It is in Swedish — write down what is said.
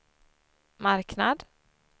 marknad